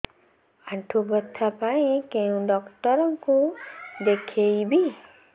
ଆଣ୍ଠୁ ବ୍ୟଥା ପାଇଁ କୋଉ ଡକ୍ଟର ଙ୍କୁ ଦେଖେଇବି